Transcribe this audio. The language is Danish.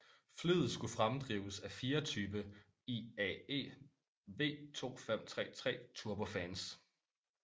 Flyet skulle fremdrives af fire type IAE V2533 turbofans